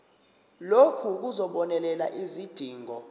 lokhu kuzobonelela izidingo